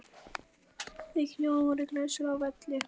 Þau hjón voru glæsileg á velli.